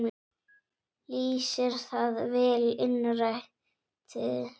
Lýsir það vel innræti hennar.